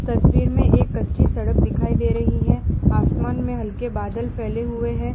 तस्वीर में एक कच्ची सड़क दिखाई दे रही है आसमान में हल्के बादल फैले हुए हैं।